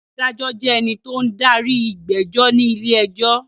Adájọ́ jẹ́ ènìyàn tó ń darí ìgbẹ́jọ́ ní ilé-ẹjọ́.